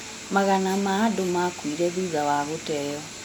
Magana ma andũ makuire thutha wa gũteeo